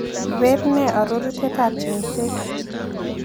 Bett ne arorutietap cheng'set